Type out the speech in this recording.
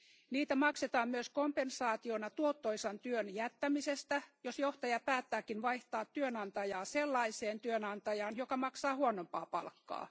Niitä maksetaan myös kompensaationa tuottoisan työn jättämisestä, jos johtaja päättääkin vaihtaa työnantajaa sellaiseen työnantajaan, joka maksaa huonompaa palkkaa.